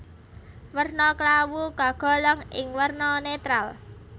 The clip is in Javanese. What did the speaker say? Werna klawu kagolong ing werna netral